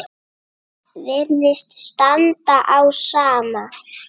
Virðist standa á sama.